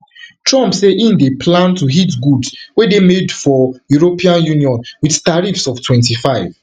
trump say im dey plan to hit goods wey dey made for european union wit tariffs of twenty-five